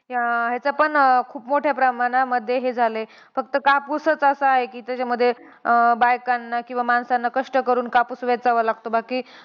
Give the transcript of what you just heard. अं ह्याचं पण खूप मोठ्या प्रमाणामध्ये हे झालंय. फक्त कापूसच असांय की, त्याच्यामध्ये बायकांना किंवा माणसांना कष्ट करून कापूस वेचावा लागतो. बाकी